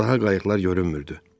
Daha qayıqlar görünmürdü.